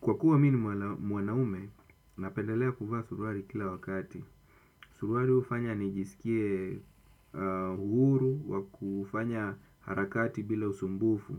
Kwa kuwa mi ni mwanaume, napendelea kuvaa suruali kila wakati. Suruali hufanya nijiskie uhuru wa kufanya harakati bila usumbufu.